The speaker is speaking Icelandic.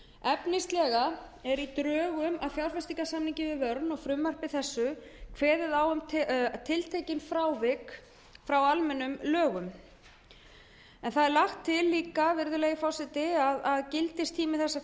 efnislega er í drögum að fjárfestingarsamningi við verne og í frumvarpi þessu kveðið á um tiltekin frávik frá almennum lögum en einnig er lagt til að gildistími þessa